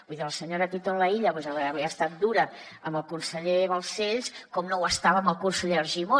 vull dir la senyora titon laïlla avui ha estat dura amb el conseller balcells com no ho estava amb el conseller argimon